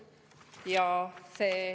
Teie aeg!